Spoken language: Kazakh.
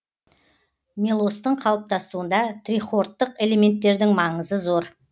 мелостың қалыптасуында трихордтық элементтердің маңызы зор